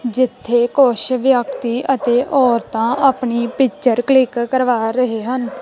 ਜਿੱਥੇ ਕੁਛ ਵਿਅਕਤੀ ਅਤੇ ਔਰਤਾਂ ਆਪਣੀ ਪਿਚਰ ਕਲਿੱਕ ਕਰਵਾ ਰਹੇ ਹਨ।